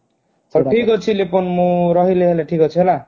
ଉଁ ହୁଁ ଠିକ ଅଛି ଲିପୁନ ମୁଁ ରହିଲି ହେଲା